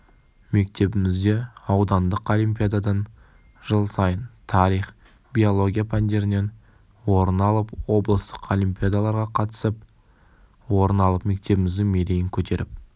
мектебімізде аудандық олимпиададан жыл сайын тарих биология пәндерінен орын алып облыстық олимпиадаларға қатысып орын алып мектебіміздің мерейін көтеріп